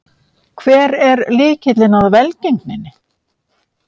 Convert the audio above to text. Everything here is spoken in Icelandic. Hver er lykilinn að velgengninni?